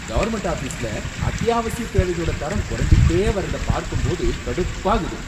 Government ஆஃபீஸ்ல அத்யாவசிய தேவைகளோட தரம் குறைஞ்சுகிட்டே வரதை பார்க்கும்போது கடுப்பாகுது.